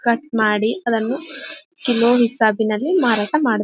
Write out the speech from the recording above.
Cut ಮಾಡಿ ಅದನ್ನು ತಿನ್ನೋ ಹಿಸಾಬಿನಲ್ಲಿ ಮಾರಾಟ ಮಾಡುತ್ತಾರೆ .